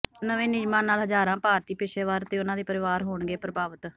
ਨਵੇਂ ਨਿਯਮਾਂ ਨਾਲ ਹਜ਼ਾਰਾਂ ਭਾਰਤੀ ਪੇਸ਼ੇਵਰ ਤੇ ਉਨ੍ਹਾਂ ਦੇ ਪਰਿਵਾਰ ਹੋਣਗੇ ਪ੍ਰਭਾਵਿਤ